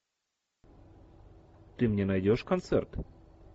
ты мне найдешь концерт